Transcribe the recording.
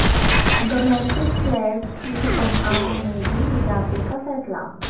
domestic players کی تنخواہوں میں بھی اضافے کا فیصلہ